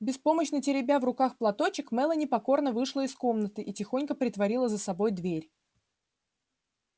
беспомощно теребя в руках платочек мелани покорно вышла из комнаты и тихонько притворила за собой дверь